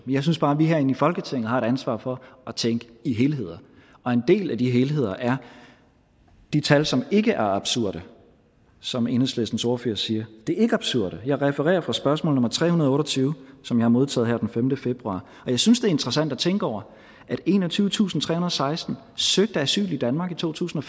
jeg synes bare at vi herinde i folketinget har et ansvar for at tænke i helheder og en del af de helheder er de tal som ikke er absurde som enhedslistens ordfører siger de er ikke absurde jeg refererer på spørgsmål nummer tre hundrede og otte og tyve som jeg har modtaget her den femte februar jeg synes det er interessant at tænke over at enogtyvetusinde og seksten søgte asyl i danmark i to tusind